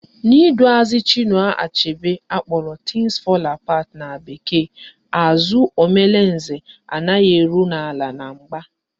N'iduazị Chinua Achebe akpọrọ Things fall Apart na bekee, àzụ́ Omalinze anaghị eru n'ala na mgba